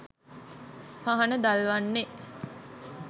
පහන දල්වන්නේ